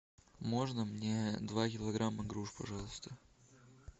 можно мне два килограмма груш пожалуйста